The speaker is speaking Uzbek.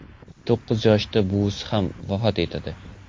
To‘qqiz yoshida buvisi ham vafot yetadi.